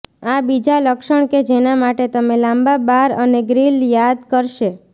આ બીજા લક્ષણ કે જેના માટે તમે લાંબા બાર અને ગ્રીલ યાદ કરશે